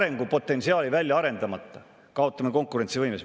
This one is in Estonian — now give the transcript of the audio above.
Arengupotentsiaali välja arendamata kaotame konkurentsivõimes.